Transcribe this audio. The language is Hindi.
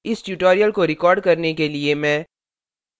इस tutorial को record करने के लिए मैं